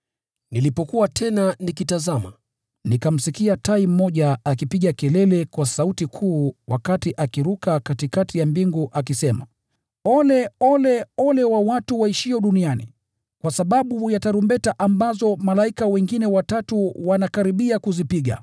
Nilipokuwa tena nikitazama, nikamsikia tai mmoja akipiga kelele kwa sauti kuu wakati akiruka katikati ya mbingu, akisema, “Ole! Ole! Ole wa watu waishio duniani, kwa sababu ya tarumbeta ambazo malaika hao wengine watatu wanakaribia kuzipiga!”